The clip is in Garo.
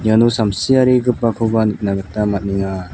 iano samsiarigipakoba nikna gita man·enga.